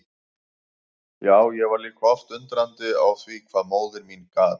Já, ég var líka oft undrandi á því hvað móðir mín gat.